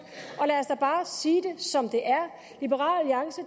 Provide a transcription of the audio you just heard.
og bare sige det som